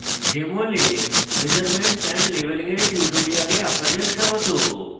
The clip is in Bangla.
jmol এ measurements and labeling এর tutorial আপনাদের স্বাগত